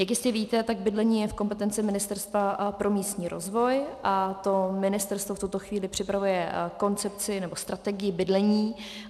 Jak jistě víte, tak bydlení je v kompetenci Ministerstva pro místní rozvoj a to ministerstvo v tuto chvíli připravuje koncepci, nebo strategii bydlení.